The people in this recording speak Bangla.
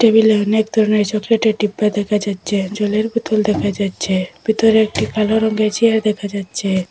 টেবিলে অনেক ধরনের চকলেটের ডিব্বা দেখা যাচ্ছে জলের বোতল দেখা যাচ্ছে ভিতরে একটি কালো রঙ্গের চেয়ার দেখা যাচ্ছে।